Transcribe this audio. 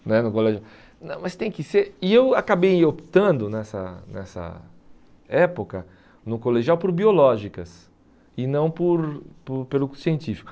Né no colégio não mas tem que ser... E eu acabei optando nessa nessa época no colegial por biológicas e não por por pelo científico.